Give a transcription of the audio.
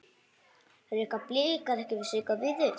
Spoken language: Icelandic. Reka Blikar ekki Sigga Víðis?